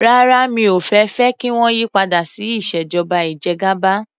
Rárá mi ò fẹ́ fẹ́ kí wọ́n yí padà sí ìṣèjọba ìjẹgàba.